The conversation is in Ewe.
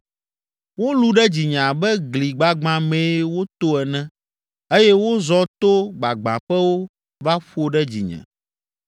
Wolũ ɖe dzinye abe gli gbagbã mee woto ene eye wozɔ to gbagbãƒewo va ƒo ɖe dzinye.